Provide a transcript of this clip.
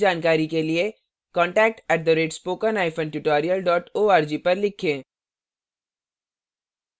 अधिक जानकारी के लिए contact @spokentutorial org पर लिखें